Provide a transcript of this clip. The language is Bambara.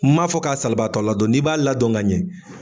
M'a fɔ k'a salibaatɔ ladon n'i b'a ladɔn ka ɲɛ